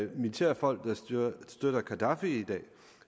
militære folk der støtter gaddafi i dag